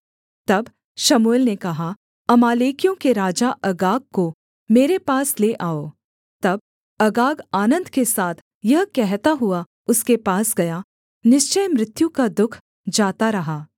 तब शमूएल ने कहा अमालेकियों के राजा अगाग को मेरे पास ले आओ तब अगाग आनन्द के साथ यह कहता हुआ उसके पास गया निश्चय मृत्यु का दुःख जाता रहा